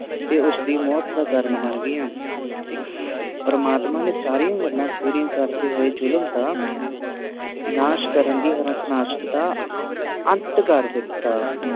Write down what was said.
ਤੇ ਉਸਦੀ ਮੌਤ ਦਾ ਕਾਰਨ ਬਣ ਗਿਆ ਪ੍ਰਮਾਤਮਾ ਨੇ ਸਾਰੀਆਂ ਗੱਲਾਂ ਪੂਰੀਆਂ ਕਰਦੇ ਹੋਏ ਜ਼ੁਲਮ ਦਾ ਨਾਸ਼ ਕਰਨ ਦੀ ਹਾਰਨਾਸ਼ਕ ਦਾ ਅੰਤ ਕਰ ਦਿਤਾ